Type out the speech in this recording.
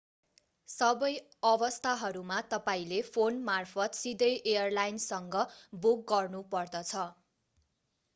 सबै अवस्थाहरूमा तपाईंले फोन मार्फत सिधै एयरलाइन्सँग बुक गर्नु पर्दछ